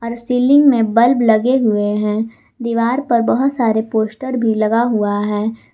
Ceiling में bulb लगे हुए हैं दीवार पर बहोत सारे पोस्टर भी लगा हुआ है।